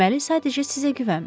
Deməli, sadəcə sizə güvənmir.